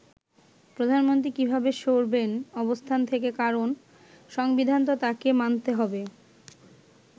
প্রধানমন্ত্রী কিভাবে সরবেন অবস্থান থেকে কারণ সংবিধান তো তাকে মানতে হবে”।